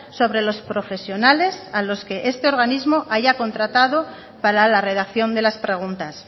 sobre los profesionales a los que este organismo haya contratado para la redacción de las preguntas